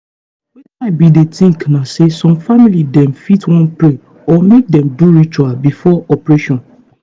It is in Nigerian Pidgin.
wetin i bin dey think na say some family dem fit wan pray or make dem do ritual before operation.